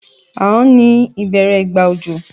Ànán ni ìbẹ́rẹ́ ìgbà òjò